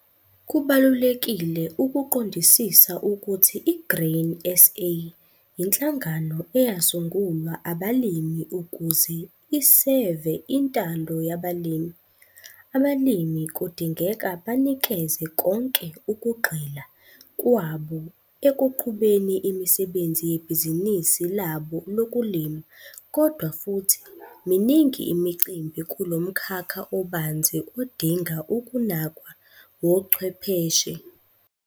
Kubalulekile ukuqondisisa ukuthi i-Grain SA yinhlangano eyasungulwa abalimi ukuze iseve intando yabalimi. Abalimi kudingeka banikeze konke ukugxila kwabo ekuqhubeni imisebenzi yebhizinisi labo lokulima kodwa futhi miningi imicimbi kulo mkhakha obanzi odinga ukunakwa wochwepheshe.